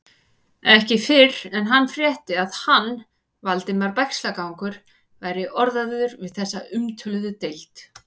Ekki fyrr en hann frétti, að hann, Valdimar Bægslagangur, væri orðaður við þessa umtöluðu deild.